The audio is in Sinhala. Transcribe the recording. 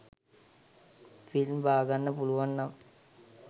ෆිල්ම් බාගන්න පුලුවන් නම්